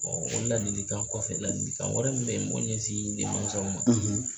o ladilikan kɔfɛ ladilikan wɛrɛ min bɛ n b'o ɲɛsin denmansaw ma.